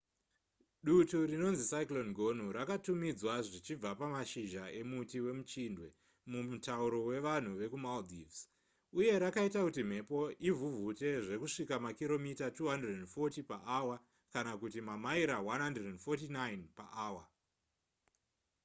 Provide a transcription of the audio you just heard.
dutu rinonzi cyclone gonu rakatumidzwa zvichibva pamashizha emuti wemuchindwe mumutauro wevanhu vekumaldives uye rakaita kuti mhepo ivhuvhute zvekusvika kumakiromita 240 paawa kana kuti mamaira 149 paawa